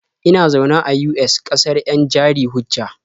Ina zaune a US, ƙasar 'yan jari-hujja.